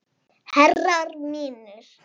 Herrar mínir.